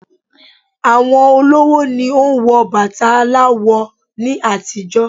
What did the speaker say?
Àwọn olówó ni o n wo bàtà aláwọ̀ ni àtijọ́